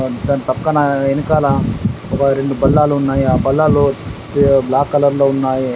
దాని పక్కన వెనకాల ఒక రెండు బల్లాలు ఉన్నాయి. ఆ బల్లాలు బ్లాక్ కలర్లో ఉన్నాయి.